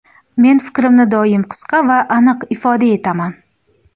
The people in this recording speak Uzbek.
Men fikrimni doim qisqa va aniq ifoda etaman.